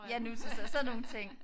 Ja nutids og sådan nogle ting